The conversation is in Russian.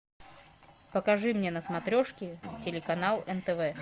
покажи мне на смотрешке телеканал нтв